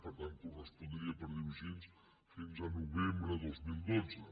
per tant correspondria per dir ho així fins a novembre del dos mil dotze